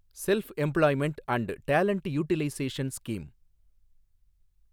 self employment and talent utilisation scheme